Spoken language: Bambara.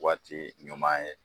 Waati ɲuman ye